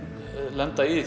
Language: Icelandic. lenda í